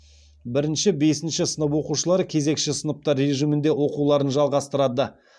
бірінші бесінші сынып оқушылары кезекші сыныптар режимінде оқуларын жалғастырады